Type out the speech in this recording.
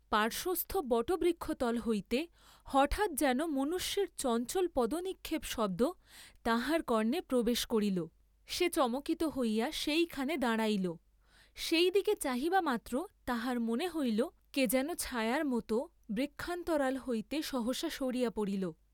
পার্শ্বস্থ বটবৃক্ষতল হইতে হঠাৎ যেন মনুষ্যের চঞ্চল পদনিক্ষেপশব্দ তাহার কর্ণে প্রবেশ করিল, সে চমকিত হইয়া সেইখানে দাঁড়াইল, সেই দিকে চাহিবামাত্র তাহার মনে হইল, কে যেন ছায়ার মত বৃক্ষান্তরাল হইতে সহসা সরিয়া পড়িল।